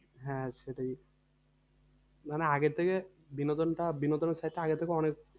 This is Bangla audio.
হ্যাঁ সেটাই মানে আগের থেকে বিনোদনটা বিনোদনের আগের থেকে অনেক,